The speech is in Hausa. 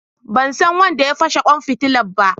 Ban san wanda ya fashe kwan fitila ba.